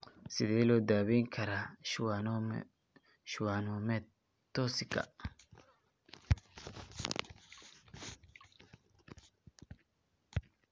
Sidee loo daweyn karaa schwannomatosika?